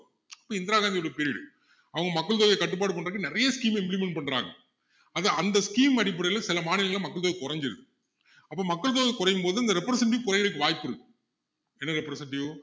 அப்போ இந்திரா காந்தியோட period உ அவங்க மக்கள் தொகையை கட்டுப்பாடு பண்றத்துக்கு நிறைய scheme அ implement பண்றாங்க அது அந்த scheme அடிப்படையில சில மாநிலங்களில மக்கள் தொகை குறைஞ்சுது அப்போ மக்கள் தொகை குறையும் போது இந்த representative குறையுறதுக்கு வாய்ப்பு இருக்கு என்ன representive